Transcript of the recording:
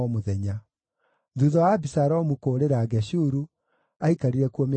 Thuutha wa Abisalomu kũũrĩra Geshuru, aikarire kuo mĩaka ĩtatũ.